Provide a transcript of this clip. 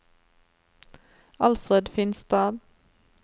Alfred Finstad